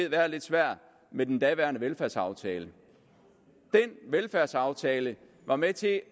været lidt svært med den daværende velfærdsaftale den velfærdsaftale var med til at